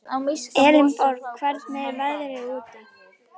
Elenborg, hvernig er veðrið úti?